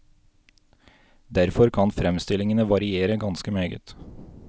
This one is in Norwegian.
Derfor kan fremstllingene variere ganske meget.